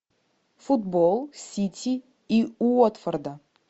футбол сити и уотфорда